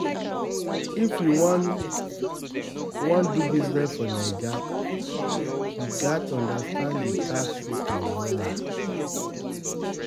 If you wan, wan do business for Naija, you gats understand di tax system wella.